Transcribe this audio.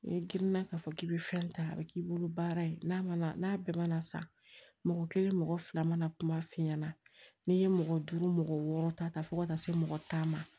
N'i girinna k'a fɔ k'i bɛ fɛn ta a bɛ k'i bolo baara ye n'a mana n'a bɛɛ mana san mɔgɔ kelen mɔgɔ fila mana kuma f'i ɲɛna n'i ye mɔgɔ duuru mɔgɔ wɔɔrɔ ta fo ka taa se mɔgɔ tan ma